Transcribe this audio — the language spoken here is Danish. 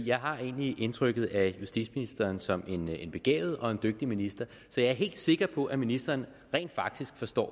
jeg har egentlig et indtryk af justitsministeren som en begavet og dygtig minister så jeg er helt sikker på at ministeren rent faktisk forstår